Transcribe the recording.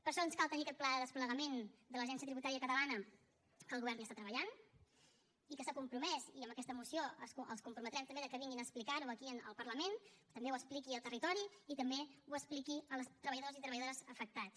per això ens cal tenir aquest pla de desplegament de l’agència tributària catalana que el govern hi està treballant i que s’ha compromès i amb aquesta moció els comprometrem també que vinguin a explicar ho aquí en el parlament també ho expliqui al territori i també ho expliqui als treballadors i treballadores afectats